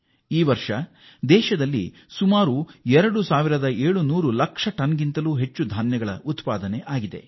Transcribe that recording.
ಈ ವರ್ಷ ದೇಶದಲ್ಲಿ ಎರಡು ಸಾವಿರದ 700 ಲಕ್ಷ ಟನ್ ಗಳಷ್ಟು ಆಹಾರ ಧಾನ್ಯ ಉತ್ಪಾದಿಸಲಾಗಿದೆ